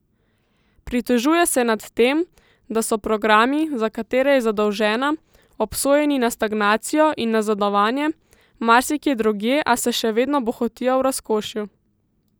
Pritožuje se nad tem, da so programi, za katere je zadolžena, obsojeni na stagnacijo in nazadovanje, marsikje drugje a se še vedno bohotijo v razkošju.